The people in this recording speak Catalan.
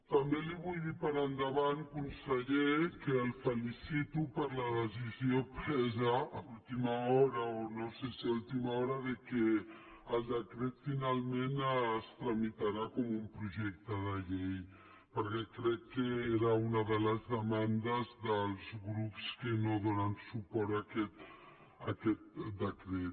també li vull dir per endavant conseller que el felicito per la decisió presa a última hora o no sé si a última hora que el decret finalment es tramitarà com un projecte de llei perquè crec que era una de les demandes dels grups que no donen suport a aquest decret